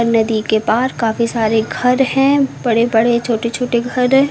नदी के पार काफी सारे घर हैं बड़े बड़े छोटे छोटे घर है।